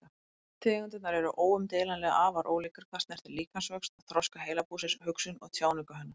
Tegundirnar eru óumdeilanlega afar ólíkar hvað snertir líkamsvöxt, þroska heilabúsins, hugsun og tjáningu hennar.